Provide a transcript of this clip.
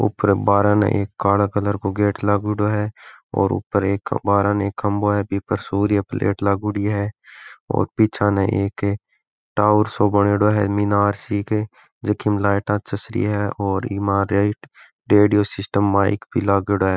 ऊपर बाहर ने एक काला कलर का गेट लागेङो है और ऊपर एक बाहरे ने एक खम्बाे है बी पर सूर्य प्लेट लागोड़ी है और पीछे न एक टावर सो बणयोडो है मीनार सी क जकी में लाइट चस रही है और इमा एक रेडियो सिस्टम माइक भी लागेडो है।